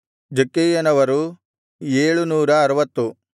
ಜಕ್ಕೈಯವರು 760